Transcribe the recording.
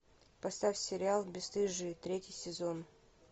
поставь сериал бесстыжие третий сезон